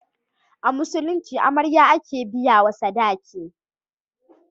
A Musulunci amarya. ake biya wa sadaki